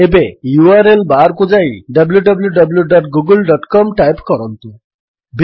ଏବେ URL bar କୁ ଯାଇ wwwgooglecom ଟାଇପ୍ କରନ୍ତୁ